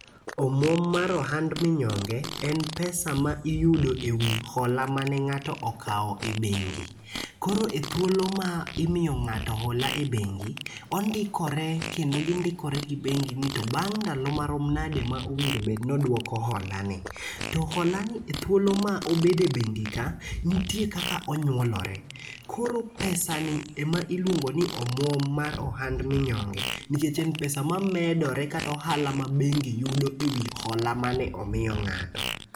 Omuom mar ohand minyonge en pesa ma iyudo ewi hola mane ng'ato okawo e bengi. Koro ethuolo ma imiyo ng'ato hola e bengi ondikore kendo gindikore gi bengi ni to bang' ndalo marom nadi ma nowinjo bed ni oduoko holani. To holani to thuolo ma obedo e bengi ka nitie kaka onyuolore koro pesa ni ema iluongo ni omuom mar ohand minyonge nikechen pesa ma medore kata ohala ma bengi yudo ewi hola mane omiyo ng'ato